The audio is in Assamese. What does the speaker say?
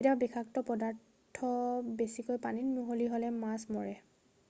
কেতিয়াবা বিষাক্ত পদাৰ্থ বেছিকৈ পানীত মিহলি হ'লে মাছ মৰে